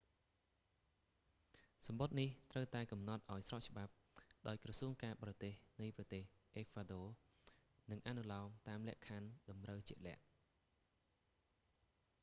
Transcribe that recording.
សំបុត្រនេះត្រូវតែកំណត់ឱ្យស្របច្បាប់ដោយក្រសួងការបរទេសនៃប្រទេសអេក្វាដ័រ និងអនុលោមតាមលក្ខខណ្ឌតម្រូវជាក់លាក់